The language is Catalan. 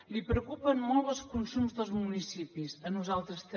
li preocupen molt els consums dels municipis a nosaltres també